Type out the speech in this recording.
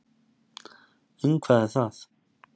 Um hvað er það?